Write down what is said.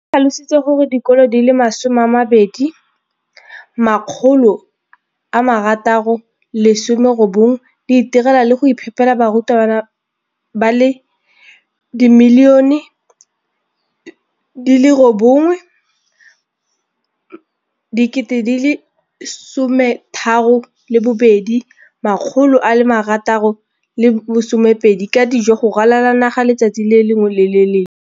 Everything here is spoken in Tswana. O tlhalositse gore dikolo di le 20 619 di itirela le go iphepela barutwana ba le 9 032 622 ka dijo go ralala naga letsatsi le lengwe le le lengwe.